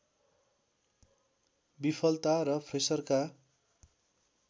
विफलता र फ्रेसरका